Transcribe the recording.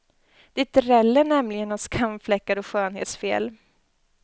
Det dräller nämligen av skamfläckar och skönhetsfel.